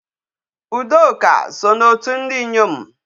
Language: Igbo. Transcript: Udoka so n'otu ndị inyom.